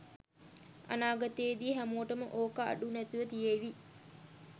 අනාගතේදී හැමෝටම ඕක අඩු නැතිව තියේවි